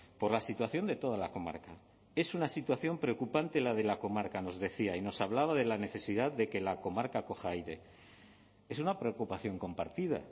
por la situación de toda la comarca es una situación preocupante la de la comarca nos decía y nos hablaba de la necesidad de que la comarca coja aire es una preocupación compartida